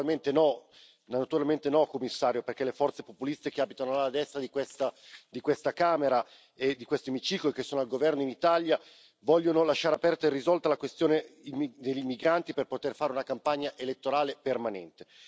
Naturalmente no, Commissario, perché le forze populiste che abitano alla destra di questa Camera e di questo emiciclo e che sono al governo in Italia vogliono lasciare aperta e irrisolta la questione degli immigranti per poter fare una campagna elettorale permanente.